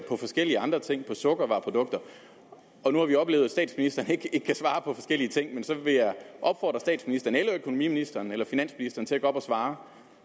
forskellige andre ting sukkervareprodukter nu har vi oplevet at statsministeren ikke kan svare på forskellige ting men så vil jeg opfordre statsministeren eller økonomiministeren eller finansministeren til at gå op og svare